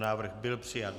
Návrh byl přijat.